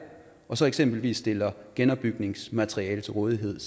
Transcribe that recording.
og så eksempelvis stiller genopbygningsmateriale til rådighed